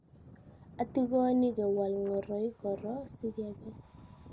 atikoni kewal ngoroik korok sikebe